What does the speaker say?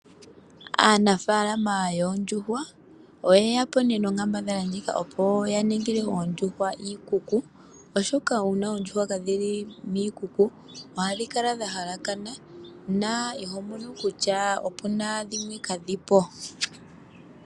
Aanafalama yoondjuhwa oye yapo nee nonkambadhala ndjika opo ya ningile oondjuhwa iikuku oshoka uuna oondjuhwa kadhi li miikuku oha dhi kala dha halakana no iho vulu mona kutya opu na dhimwe kaadhipo.